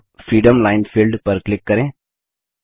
अब freeform line field पर click करें